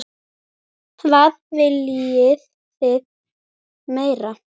Hvað viljið þið meira?